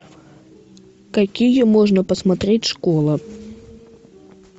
какие можно посмотреть школа